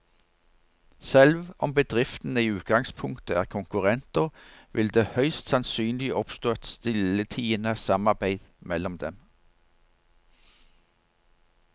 Selv om bedriftene i utgangspunktet er konkurrenter, vil det høyst sannsynlig oppstå et stilltiende samarbeid mellom dem.